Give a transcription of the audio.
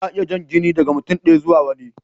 Ana iya jan jini daga mutum ɗaya zuwa wani.